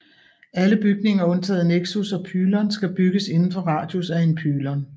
Alle bygninger undtaget nexus og pylon skal bygges inden for radius af en pylon